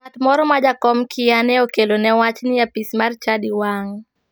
Ng'ato moro ma jakom kia ne okelone wach ni apis mar chadi wang'.